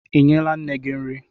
Ị nyela nne gị nri?